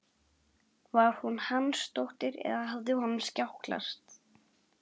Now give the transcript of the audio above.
Var hún Hansdóttir eða hafði honum skjátlast?